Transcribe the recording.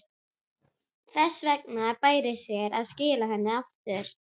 Þess vegna bæri sér að skila henni aftur.